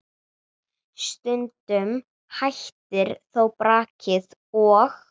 Stundum hættir þó brakið og